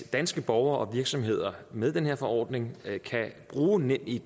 danske borgere og virksomheder med den her forordning kan bruge nemid